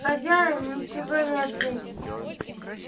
хозяин ничего не ответил